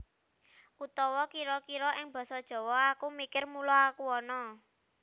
Utawa kira kira ing Basa Jawa Aku mikir mula aku ana